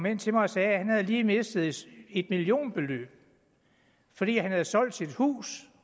hen til mig og sagde at han lige havde mistet et millionbeløb han havde solgt sit hus